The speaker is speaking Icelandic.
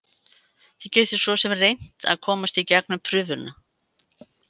Þið getið svosem reynt að komast í gegnum prufuna.